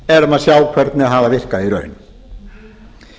erum að sjá hvernig hafa virkað í raun